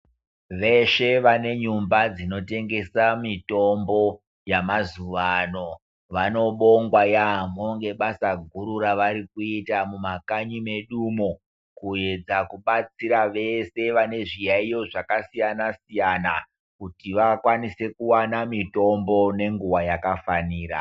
Veshe vane nyumba dzinotengesa mitombo yamazuwa ano vanobongwa yaampho ngebasa guru revari kuita mumakanyi medu umo kuedza kubatsira vese vane zviyayiyo zvakasiyana siyana kuti vakwanise kuwana mitombo nenguwa yakafanira.